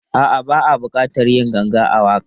A'a, ba a buƙatar yin ganga a waƙar.